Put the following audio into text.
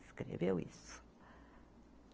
Escreveu isso.